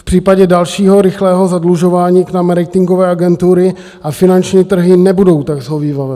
V případě dalšího rychlého zadlužování k nám ratingové agentury a finanční trhy nebudou tak shovívavé.